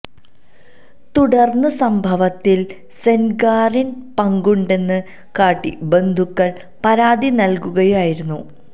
തുടർന്ന് സംഭവത്തിൽ സെൻഗാറിന് പങ്കുണ്ടെന്ന് കാട്ടി ബന്ധുക്കൾ പരാതി നൽകുകയായിരുന്നു